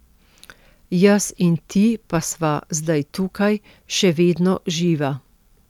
Jaz in ti pa sva zdaj tukaj, še vedno živa.